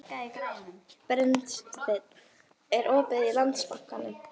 Brynsteinn, er opið í Landsbankanum?